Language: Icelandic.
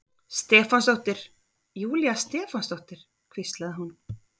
Stefánsdóttir, Júlía Stefánsdóttir, hvíslaði hún.